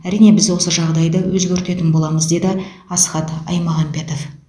әрине біз осы жағдайды өзгертетін боламыз деді асхат аймағамбетов